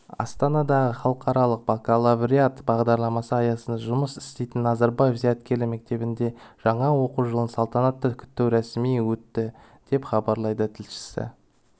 астанадағы халықаралық бакалавриат бағдарламасы аясында жұмыс істейтін назарбаев зияткерлік мектебінде жаңа оқу жылын салтанатты күту рәсімі өтті деп хабарлайды тілшісі